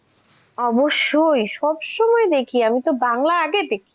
অবশ্যই সব সময় দেখি আমি তো বাংলা আগে দেখি?